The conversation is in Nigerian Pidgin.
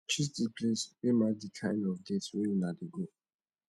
choose di place wey match di kind of date wey una dey go